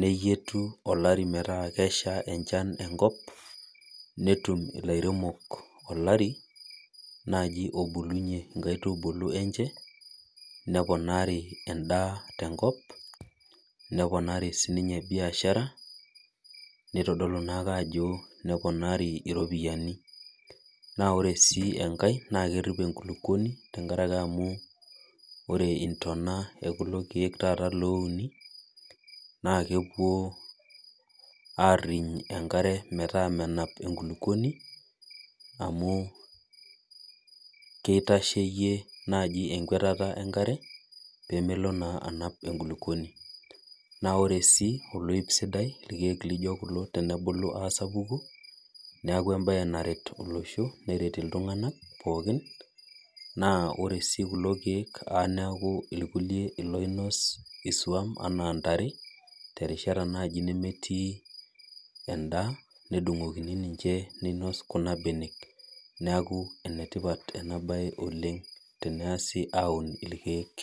neyieti olari metaa kesha enkop netum lairemok olari obulunye nkaitubulu enche neponari endaa tenkop neponari sinye biashara nitodoku ajo neponari iropiyiani ore enkae na kerip enkulukuoni amu ore intona okulo kiek oouni na kepuo airiny enkare metaa amu kitasheyie naji enkwetata enkare pemelo anap enkulukuoni ore si irkiek lijo kulo tenebuku asapuku neaku embae narwt olosho neret ltunganak pooki na ore si kulo kiek neaku irkulie loinos iswam ana ntare nemetii endaa nedungokini ninche neinos kuna benek neaku enetipat oleng umoto orkiek.